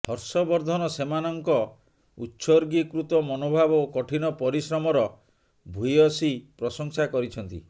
ହର୍ଷବର୍ଦ୍ଧନ ସେମାନଙ୍କ ଉତ୍ସର୍ଗୀକୃତ ମନୋଭାବ ଓ କଠିନ ପରିଶ୍ରମର ଭୂୟଂଶୀ ପ୍ରଶଂସା କରିଛନ୍ତି